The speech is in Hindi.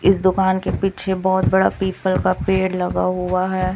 इस दुकान के पीछे बहुत बड़ा पीपल का पेड़ लगा हुआ है।